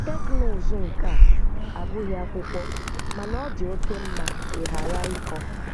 Teknụzụ nke a abụghị akwụkwọ, mana ọ dị oke mma ịghara ịkọ